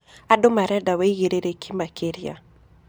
Andũ mareda wĩĩgĩrĩrĩkĩ makĩrĩa.